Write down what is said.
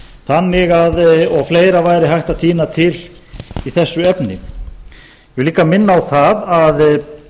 tilvitnun lýkur og fleira væri hægt að tína til í þessu efni ég vil líka minna á það að